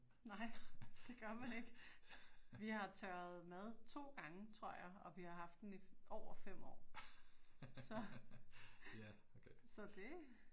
Nej, det gør man ikke. Vi har tørret mad 2 gange tror jeg, og vi har haft den i over 5 år, så det